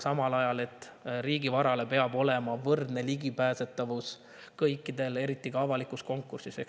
Samal ajal peab riigivarale olema võrdne ligipääsetavus kõikidel, eriti avalikul konkursil.